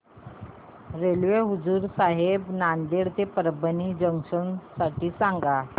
railway हुजूर साहेब नांदेड ते परभणी जंक्शन साठी सांगा